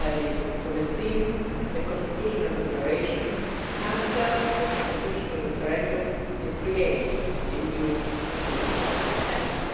namely, to rescind the constitutional declaration, cancel the constitutional referendum and create a new Constituent Assembly.